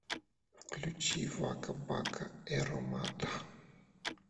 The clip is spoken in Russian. включи вака бака эромата